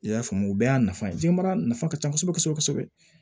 I y'a faamu o bɛɛ y'a nafa ye jiyɛnbara nafa ka ca kosɛbɛ kosɛbɛ